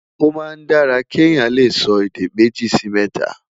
o má n dára ké Yàn lẹsọ èdè méjì Si mẹta